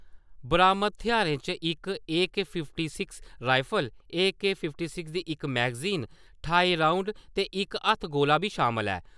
बरामद थेहारें च इक AK. Fifty six rifle, AK. Fifty six दी इक मैगज़ीन, ठाई राउंद ते इक हत्थगोला बी शामल ऐ।